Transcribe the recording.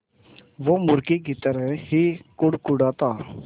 वो मुर्गी की तरह ही कुड़कुड़ाता